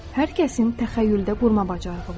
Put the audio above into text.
Hər kəsin təxəyyüldə qurma bacarığı var.